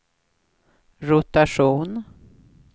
rotation